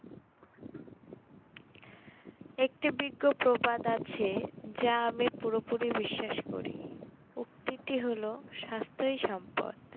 একটি বিজ্ঞ প্রবাদ আছে যা আমি পুরোপুরি বিশ্বাস করি উক্তিটি হল স্বাস্থ্যই সম্পদ